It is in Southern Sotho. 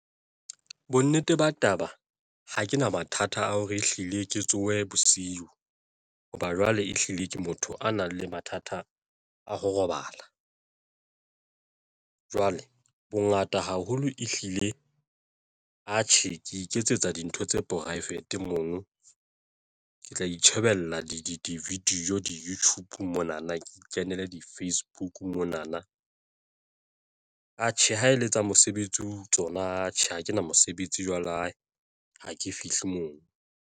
Bonnete ba taba ha ke na mathata a hore ehlile ke tsohe bosiu. Hoba jwale, ehlile ke motho a nang le mathata a ho robala. Jwale bongata haholo ehlile atjhe ke iketsetsa dintho tsa poraefete mono ke tla itjhebella di-video, di-YouTube mona na ke ikenele di-Facebook mona na atjhe ha ele tsa mosebetsi tsona, atjhe ha kena mosebetsi jwale hae ha ke fihle moo.